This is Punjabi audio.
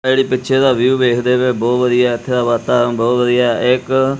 ਇਹ ਜਿਹੜੀ ਪਿੱਚਰ ਦਾ ਵਿਊ ਵੇਖਦੇ ਪਏ ਔ ਬਹੁਤ ਵਧੀਆ ਐ ਇੱਥੇ ਦਾ ਵਾਤਾਵਰਨ ਬਹੁਤ ਵਧੀਆ ਐ ਇੱਕ--